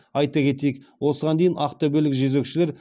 айта кетейік осыған дейін ақтөбелік жезөкшелер